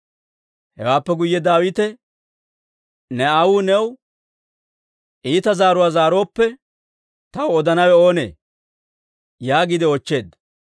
Hewaappe guyye Daawite, «Ne aawuu new iita zaaruwaa zaarooppe, taw odanawe oonee?» yaagiide oochcheedda.